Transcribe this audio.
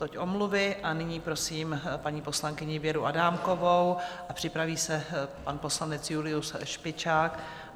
Toť omluvy a nyní prosím paní poslankyni Věru Adámkovou a připraví se pan poslanec Julius Špičák.